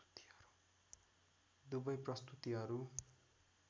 दुबै प्रस्तुतिहरू